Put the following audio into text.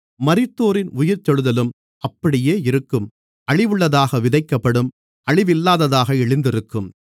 மரித்தோரின் உயிர்த்தெழுதலும் அப்படியே இருக்கும் அழிவுள்ளதாக விதைக்கப்படும் அழிவில்லாததாக எழுந்திருக்கும்